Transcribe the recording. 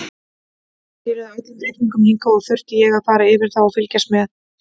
Þær skiluðu öllum reikningum hingað og þurfti ég að fara yfir þá og fylgjast með.